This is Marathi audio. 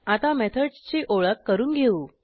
आता मेथडसची ओळख करून घेऊ